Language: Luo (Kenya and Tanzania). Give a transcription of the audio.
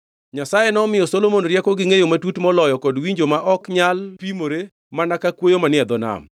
Nyasaye nomiyo Solomon rieko gi ngʼeyo matut moloyo kod winjo ma ok nyalo pimore mana ka kwoyo manie dho nam.